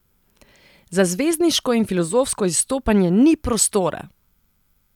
Za zvezdniško in filozofsko izstopanje ni prostora!